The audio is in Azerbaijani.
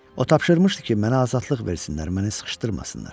O tapşırmışdı ki, mənə azadlıq versinlər, məni sıxışdırmasınlar.